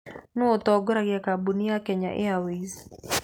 Nũũ ũtongoragia kambuni ya Kenya Airways?